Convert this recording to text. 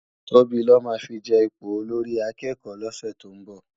Tobi lò má fi je ipó ólórì àkèkò lòsè tó n bò